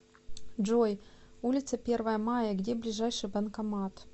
джой улица первое мая где ближайший банкомат